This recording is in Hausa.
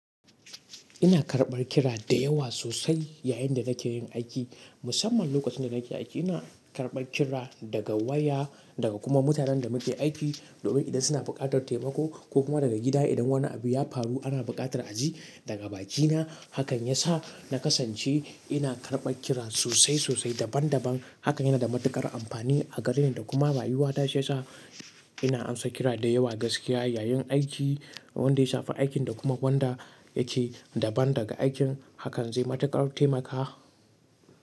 Ina karɓar kira da yawa sosai yayin da nake yin aiki. Musamman lokacin da nake aiki, ina karɓar kira daga waya daga kuma mutanen da muke aiki. Domin idan suna buƙatar taimako ko kuma daga gida idan wani abu ya faru ana buƙatar a ji daga bakina. Hakan ya sa na kasance ina karɓar kira sosai sosai daban daban. Hakan yana da matuƙar amfani a gare ni da kuma rayuwata shi ya sa ina amsa kira dayawa gaskiya yayin aiki wanda ya shafi aikin da kuma wanda yake daban da aikin. Hakan zai mataƙar taimaka.